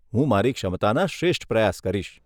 હું મારી ક્ષમતાના શ્રેષ્ઠ પ્રયાસ કરીશ.